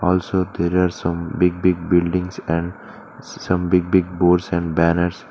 Also there as some big big buildings and some big big boards and banners.